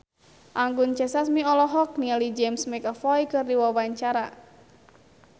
Anggun C. Sasmi olohok ningali James McAvoy keur diwawancara